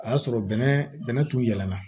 A y'a sɔrɔ bɛnɛ bɛnɛ tun yɛlɛnna